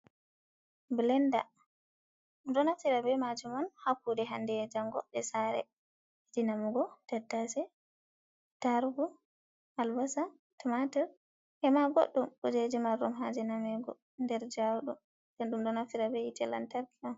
Belenda dum do naftira be majum on ha kude hande e jango je sare. di namugo tattase, tarugu, albasa tumatur. E ma boddum kujeji mardum haje namugo der jaudum bendum donaftira be hite lantarki on.